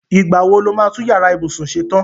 Ìgbá wo lo máa tún yàrá ìbùsún ṣe tan?